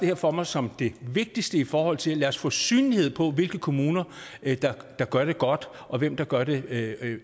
her for mig som det vigtigste i forhold til at få synlighed på hvilke kommuner der gør det godt og hvem der gør det